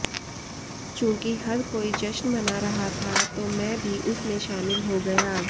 चूंकि हर कोई जश्न मना रहा था तो मैं भी उस में शामिल हो गया